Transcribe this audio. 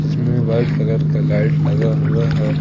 जिसमें white colour का light लगा हुआ है।